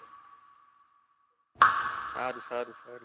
સારું સારું સારું